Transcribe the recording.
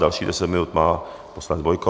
Dalších 10 minut má poslanec Bojko.